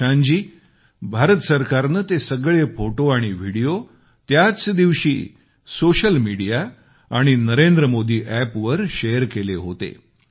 प्रशांतजी भारत सरकारने ते सगळे फोटो आणि विडीओ त्याच दिवशी सोशल मिडीया आणि नरेंद्रमोदी एप वर शेअर केले होते